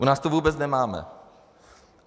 U nás to vůbec nemáme.